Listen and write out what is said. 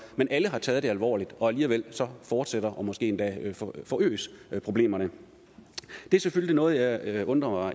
men alle har taget det alvorligt og alligevel fortsætter og måske endda forøges problemerne det er selvfølgelig noget jeg jeg undrer